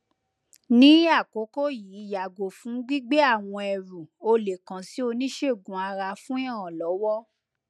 ni akoko yii yago fun gbigbe awọn ẹru o le kan si oniṣegun ara fun iranlọwọ